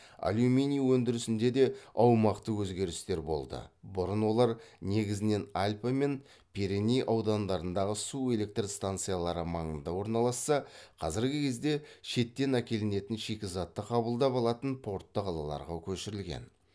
алюминий өндірісінде де аумақтық өзгерістер болды бұрын олар негізінен альпы мен пиреней аудандарындағы су электр станциялары маңында орналасса қазіргі кезде шеттен әкелінетін шикізатты қабылдап алатын портты қалаларға көшірілген